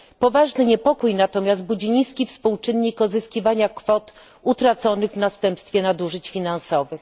Poważny niepokój natomiast budzi niski współczynnik odzyskiwania kwot utraconych w następstwie nadużyć finansowych.